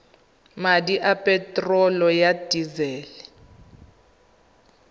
madi a peterolo ya disele